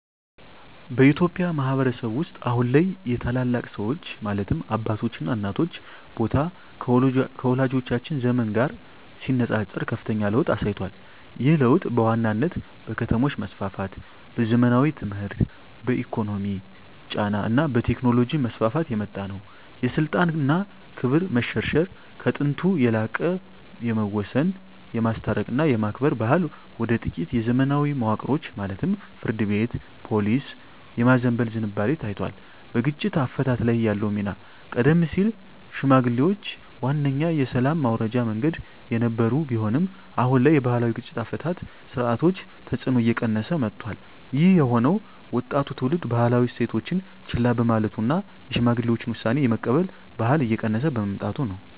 በኢትዮጵያ ማኅበረሰብ ውስጥ አሁን ላይ የታላላቅ ሰዎች (አባቶችና እናቶች) ቦታ ከወላጆቻችን ዘመን ጋር ሲነጻጸር ከፍተኛ ለውጥ አሳይቷል። ይህ ለውጥ በዋናነት በከተሞች መስፋፋት፣ በዘመናዊ ትምህርት፣ በኢኮኖሚ ጫና እና በቴክኖሎጂ መስፋፋት የመጣ ነው። የስልጣን እና ክብር መሸርሸር፦ ከጥንቱ የላቀ የመወሰን፣ የማስታረቅ እና የማክበር ባህል ወደ ጥቂት የዘመናዊ መዋቅሮች (ፍርድ ቤት፣ ፖሊስ) የማዘንበል ዝንባሌ ታይቷል። በግጭት አፈታት ላይ ያለው ሚና፦ ቀደም ሲል ሽምግልናዋነኛ የሰላም ማውረጃ መንገድ የነበረ ቢሆንም፣ አሁን ላይ የባህላዊ የግጭት አፈታት ሥርዓቶች ተጽዕኖ እየቀነሰ መጥቷል። ይህ የሆነው ወጣቱ ትውልድ ባህላዊ እሴቶችን ችላ በማለቱ እና የሽማግሌዎችን ውሳኔ የመቀበል ባህል እየቀነሰ በመምጣቱ ነው።